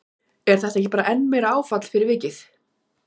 Er þetta ekki bara enn meira áfall fyrir vikið?